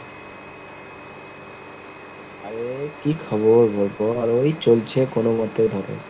আরে কি খবর বলবো আর ওই চলছে কোনোমতে ধরো।